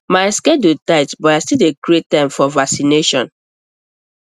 my schedule tight but i still dey create time for vaccination